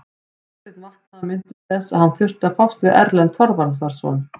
Marteinn vaknaði og minntist þess að hann þurfti að fást við Erlend Þorvarðarson.